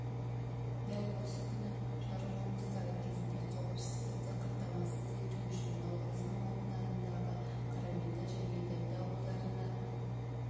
дәл осы күні жару жұмыстары кезінде қауіпсіздікті қамтамасыз ету үшін науырзым ауданындағы қараменді және дәмді ауылдарына